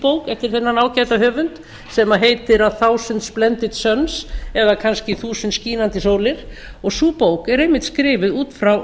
eftir þennan ágæta höfund sem heitir a thousand splendid suns eða kannski þúsund skínandi sólir og sú bók er einmitt skrifuð út frá